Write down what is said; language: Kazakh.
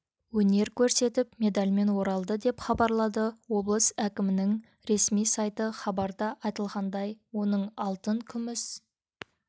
өнер көрсетіп медальмен оралды деп хабарлады облыс әкімінің ресми сайты хабарда айтылғандай оның алтын күміс